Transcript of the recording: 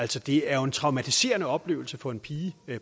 det er jo en traumatiserende oplevelse for en pige